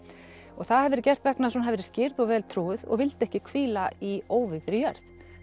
og það hafi verið gert vegna þess að hún hafi verið skírð og vel trúuð og vildi ekki hvíla í óvígðri jörð